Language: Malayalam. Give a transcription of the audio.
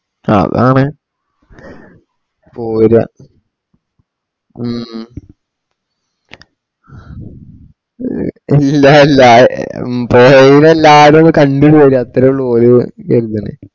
അതാണ് ഓര ഹും ല്ല ല്ല ഏ പോയവരെല്ലാരും കണ്ടുശരി അത്രേ ഉള്ളൂ ഒരു ഇതല